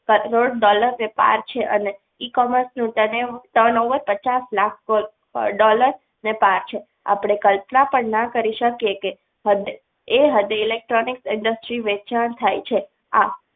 crore dollar ને પાર છે અને એ commerce turnover પચાસ લાખ dollar અને અને આપણે કલ્પના પણ ના કરી શકીએ કે એ હૃદય electronic industries વેચાણ થાય છે આ